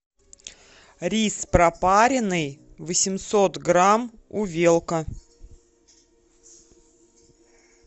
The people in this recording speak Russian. рис пропаренный восемьсот грамм увелка